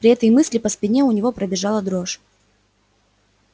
при этой мысли по спине у него пробежала дрожь